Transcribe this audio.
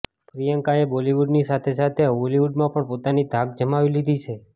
પ્રિયંકાએ બોલીવુડની સાથે સાથે હોલીવુડમાં પણ પોતાની ધાક જમાવી લીધી છે